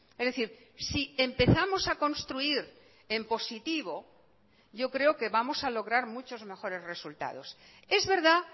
es decir si empezamos a construir en positivo yo creo que vamos a lograr muchos mejores resultados es verdad